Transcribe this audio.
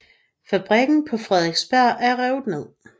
Fabrikken på Frederiksberg er revet ned